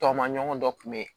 Tɔ maɲɔgɔn dɔ kun be yen